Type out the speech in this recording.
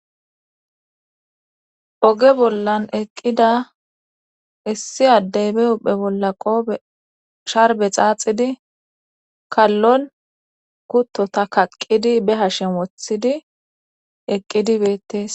Oge bollan eqqida issi addeybe uphe bolla qoope sharbe xaaxidi kallon kuttota kaqqidi be hashen wothidi eqqidi beettes.